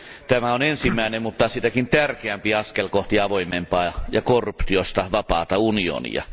Tämä on ensimmäinen mutta sitäkin tärkeämpi askel kohti avoimempaa ja korruptiosta vapaata unionia.